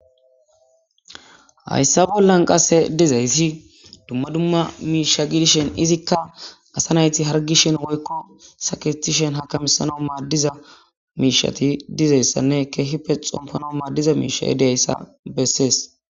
hayssa bollan qasse dizayssi dumma dumma miisha gidishen izikka asa nayti hargishin woykko sakitishen hakamisanomaa diza miishati dizayssanne keehipe xompanommaa diza miisha yedeyayssa bessees